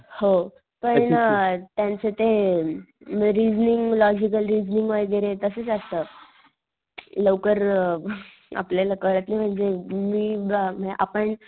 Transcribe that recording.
हो, पण त्यांचं ते रिसिलिंग लॉजिकल रिसिलिंग वैगेरे असच असत. लवकर अ आपल्याला कळत नाही म्हणजे मी अ आपण,